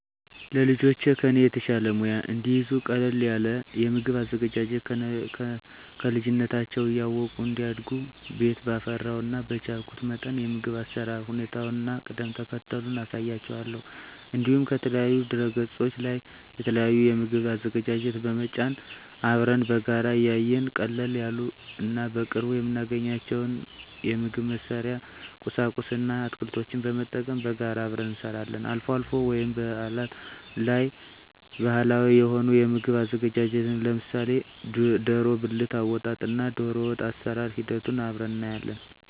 ለልጆቼ ከኔ የተሻለ ሙያ እንዲይዙ ቀለል ያለ የምግብ አዘገጃጀት ከልጅነታቸው እያወቁ እንዲያድጉ ቤት ባፈራው እና በቻልኩት መጠን የምግብ አሰራር ሁኔታውን እና ቅደም ተከተሉን አሳያቸዋለሁ። እንዲሁም ከተለያዩ ድህረገጾች ላይ የተለያዩ የምግብ አዘገጃጀት በመጫን አብረን በጋራ እያየን ቀለል ያሉ እና በቅርቡ የምናገኛቸውን የምግብ መስሪያ ቁሳቁስ እና አትክልቶችን በመጠቀም በጋራ አብረን እንሰራለን። አልፎ አልፎ ወይም በአላት ላይ ባህላዊ የሆኑ የምግብ ዝግጅቶችን ለምሳሌ ደሮ ብልት አወጣጥ እና ደሮወጥ አሰራር ሂደቱን አብረን እናያለን።